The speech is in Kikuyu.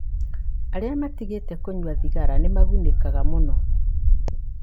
Arĩa matigĩte kũnyua thigara nĩ magunĩkaga mũno.